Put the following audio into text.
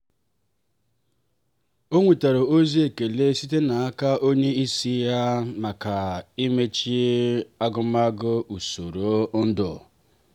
o nwetara ozi ekele site n'aka onye isi ya maka imecha agụmagụ usoro ndu.